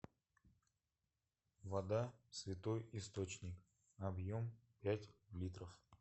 вода святой источник объем пять литров